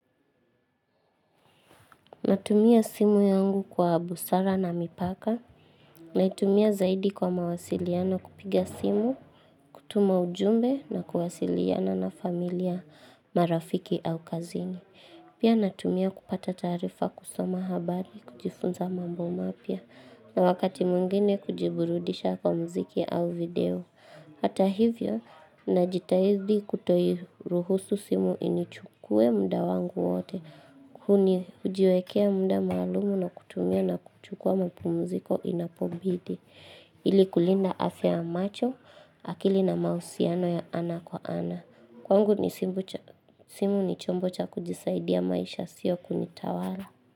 Natumia simu yangu kwa busara na mipaka naitumia zaidi kwa mawasiliano kupiga simu, kutuma ujumbe na kuwasiliana na familia marafiki au kazini. Pia natumia kupata taarifa kusoma habari kujifunza mambo mapya na wakati mwingine kujiburudisha kwa mziki au video. Hata hivyo, najitahidi kutoiruhusu simu inichukue muda wangu wote, kuni hujiwekea muda maalumu na kutumia na kuchukua mapumziko inapobidi, ili kulinda afya ya macho, akili na mahusiano ya ana kwa ana. Kwangu ni simu ni chombo cha kujisaidia maisha sio kunitawala.